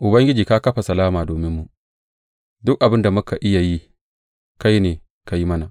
Ubangiji ka kafa salama dominmu; duk abin da muka iya yi kai ne ka yi mana.